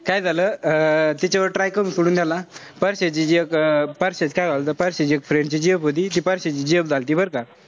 काय झालं अं तिच्या जवळ try करून सोडून झाला. परश्याची जी एक परश्याच्या एक friend ची एक gf होती. ती परश्याची gf झालती बरं का.